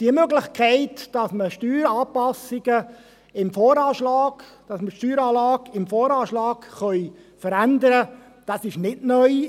Die Möglichkeit, dass wir die Steueranlage im VA verändern können, ist in diesem StG nicht neu.